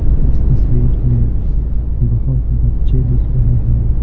इस तस्वीर में बहुत बच्चे दिख रहे हैं।